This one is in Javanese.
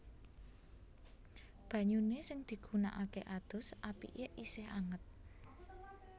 Banyune sing digunakake adus apike isih anget